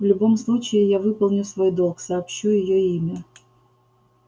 в любом случае я выполню свой долг сообщу её имя